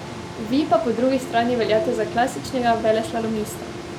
Vi pa po drugi strani veljate za klasičnega veleslalomista.